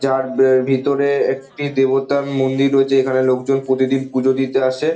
যার বে ভিতরে একটি দেবতার মন্দির রয়েছে এখানে লোকজন প্রতিদিন পূজো দিতে আসে-এ।